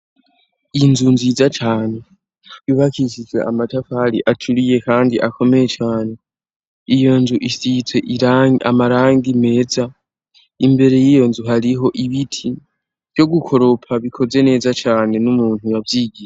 Iyinzu nziza cane wibakishizwe amatafali acuriye, kandi akomeye cane iyo nju isitse irangi amaranga meza imbere y'iyo nzu hariho ibiti vyo gukoropa bikoze neza cane n'umuntu yavyigiye.